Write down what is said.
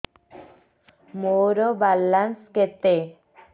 ମୋର ବାଲାନ୍ସ କେତେ